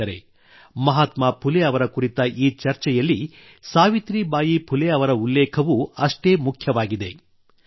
ಸ್ನೇಹಿತರೇ ಮಹಾತ್ಮಾ ಫುಲೆ ಅವರ ಕುರಿತ ಈ ಚರ್ಚೆಯಲ್ಲಿ ಸಾವಿತ್ರಿಬಾಯಿ ಫುಲೆ ಅವರ ಉಲ್ಲೇಖವೂ ಅಷ್ಟೇ ಮುಖ್ಯವಾಗಿದೆ